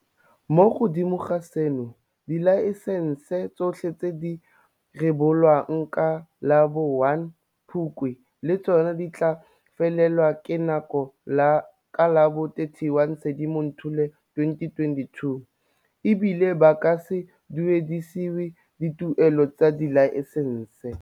Mo godimo ga seno, dilaesense tsotlhe tse di rebolwang ka la bo 1 Phukwi le tsona di tla felelwa ke nako ka la bo 31 Sedimonthole 2022, e bile ba ka se duedisiwe dituelelo tsa dilaesense.